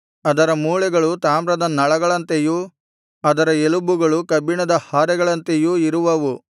ಅದರ ಮೂಳೆಗಳು ತಾಮ್ರದ ನಳಗಳಂತೆಯೂ ಅದರ ಎಲುಬುಗಳು ಕಬ್ಬಿಣದ ಹಾರೆಗಳಂತೆಯೂ ಇರುವವು